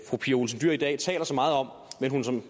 fru pia olsen dyhr i dag taler så meget om